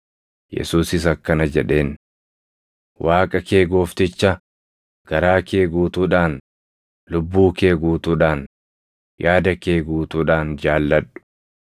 Yesuusis akkana jedheen; “Waaqa kee Goofticha garaa kee guutuudhaan, lubbuu kee guutuudhaan, yaada kee guutuudhaan jaalladhu. + 22:37 \+xt KeD 6:5\+xt*